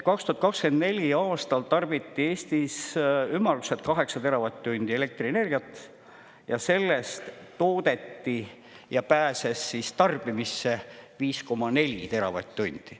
2024. aastal tarbiti Eestis ümmarguselt 8 teravatt-tundi elektrienergiat ja sellest toodeti ja pääses siis tarbimisse 5,4 teravatt-tundi.